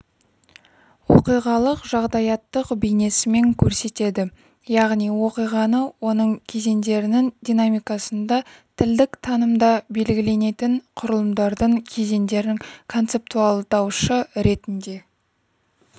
оқиғалық-жағдаяттық бейнесімен көрсетеді яғни оқиғаны оның кезеңдерінің динамикасында тілдік танымда белгіленетін құрылымдардың кезеңдерін концептуалдаушы ретінде